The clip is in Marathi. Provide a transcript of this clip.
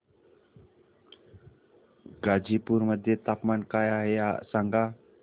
गाझीपुर मध्ये तापमान काय आहे सांगा